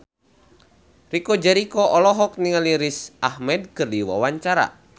Chico Jericho olohok ningali Riz Ahmed keur diwawancara